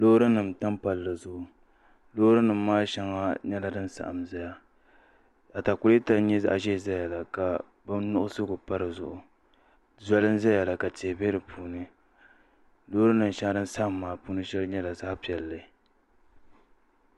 Loori nim b tam palli zuɣu Loori nim maa shɛŋa nyɛla din saɣam ʒɛya atakulɛta n nyɛ zaɣ ʒiɛ ʒɛya la ka bin nuɣsigu pa dizuɣu zoli n ʒɛya la ka tihi bɛ di puuni loori shɛŋa din saɣam ŋɔ maa puuni shɛli nyɛla zaɣ piɛlli